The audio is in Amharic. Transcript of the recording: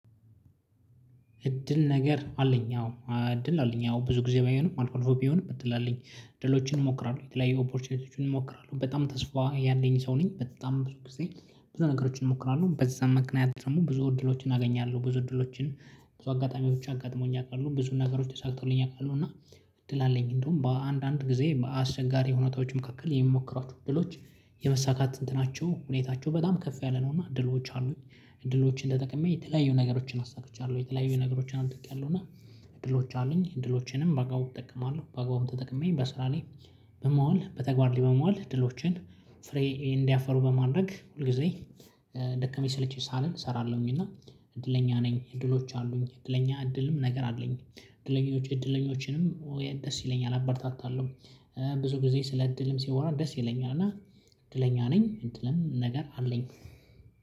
እድል ነገር አለኝ አዎ እድል አለኝ አዎ ብዙ ጊዜ ባይሆንም አልኮልፎ ቢሆንም ብትላለኝ ድሎችን እንሞክራለን የተለያየ ኦፖርቹኒቲዎችን እንሞክራለን በጣም ተስፋ ያለኝ ሰው ነኝ። በጣም ብዙ ጊዜ ብዙ ነገሮችን እሞክራለሁ በዛም መቅናያ ደግሞ ብዙ እድሎችን አገኛለሁ ብዙ እድሎችን ብዙ አጋጣሚዎች አጋጥመውኝ አውቃለሁ ብዙ ነገሮች ተሳክተውልኝ አውቃለሁ። እና እድል አለኝ እንደውም በአንዳንድ ጊዜ አስቸጋሪ ሁኔታዎች መካከል የምሞክራቸው እድሎች የመሳካት እንትናቸው ሁኔታቸው በጣም ከፍ ያለ ነው። እና እድሎች አሉኝ እድሎችን እንደጠቀመኝ የተለያዩ ነገሮችን አሳክቻለሁ የተለያዩ ነገሮችንም ጥቂቃለሁ። እና እድሎች አሉኝ እድሎቼንም በጋው እጠቀማለሁ በጋውም ተጠቅመኝ በስራ ላይ በማዋል በተግባር ለመዋል እድሎችን ፍሬ እንዲያፈሩ በማድረግ ሁል ጊዜ ደከመኝ ሰለቼ ሳለን እሰራለሁኝ። እና እድለኛ ነኝ። እድሎች አሉኝ እድለኛ እድልም ነገር አለኝ እድለኞች እድለኞችንም ደስ ይለኛል አበርታታለሁ ብዙ ጊዜ ስለ እድልም ሲሆን ደስ ይለኛል። እና እንትን ለኛ ነኝ እንትንም ነገር አለኝ።